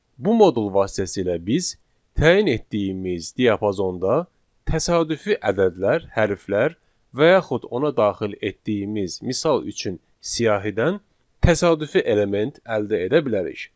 Bu modul vasitəsilə biz təyin etdiyimiz diapazonda təsadüfi ədədlər, hərflər və yaxud ona daxil etdiyimiz misal üçün siyahıdan təsadüfi element əldə edə bilərik.